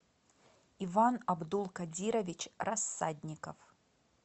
иван абдулкадирович рассадников